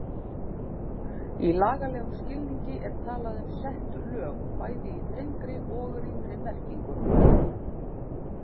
Í lagalegum skilningi er talað um sett lög, bæði í þrengri og rýmri merkingu.